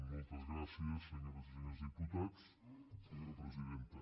moltes gràcies senyores i senyors diputats senyora presidenta